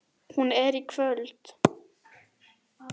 Hún er í kvöld.